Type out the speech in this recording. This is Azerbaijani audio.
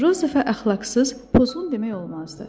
Jozefə əxlaqsız, pozğun demək olmazdı.